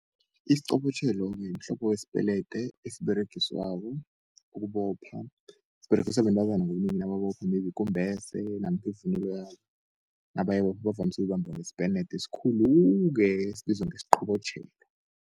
Isiqobotjhelo-ke mhlobo wespelete esiberegiswako ukubopha, siberegiswa bentazana ngobunengi nababophileko ikumbese namkha ivunulo yabo bavamsu ukubamba ngespelete esikhulu-ke esibizwa ngesqobotjhelo.